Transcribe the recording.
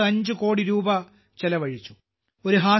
25 കോടി രൂപ ചെലവഴിച്ചു